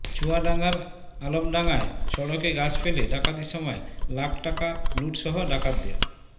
চুয়াডাঙ্গার আলমডাঙ্গায় সড়কে গাছ ফেলে ডাকাতির সময় লাখ টাকা লুটসহ ডাকাতদের